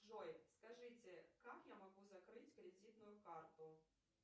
джой скажите как я могу закрыть кредитную карту